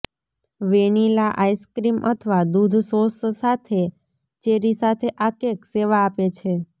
vanilla ice cream અથવા દૂધ sauce સાથે ચેરી સાથે આ કેક સેવા આપે છે